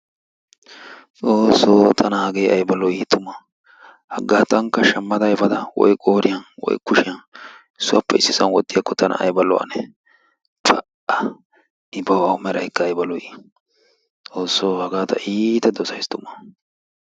xoossoo tana hagee tana ayba lo"ii tuma! haggaa tankka shamma efadda woy qooriyaan woy kuushiyaan issuwaappe issisaan wootiyaako tana ayba lo"anee? pa"a! i bawu meeraykka ayba lo"ii! xoossoo hagaa ta iitta dosaysi tumma.